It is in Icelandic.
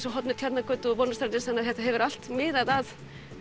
á horni Tjarnargötu og Vonarstrætis þannig að þetta hefur allt miðað að